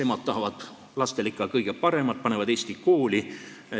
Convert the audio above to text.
Emad tahavad lastele ikka kõige paremat ja panevad nad eesti kooli.